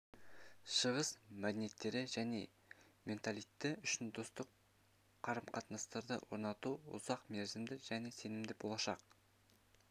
шығыс мәдениеттері және менталитеті үшін достық қарымқатынастарды орнату ұзақ мерзімді және сенімді болашақ